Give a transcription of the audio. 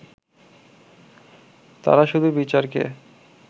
তারা শুধু বিচারকে